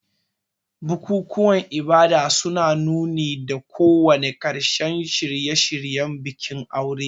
Bukukuwan ibada suna nuni da kawo ƙarshen shirye-shiryen bikin aure.